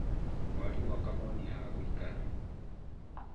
Mwarimũ akamonia ha gũikara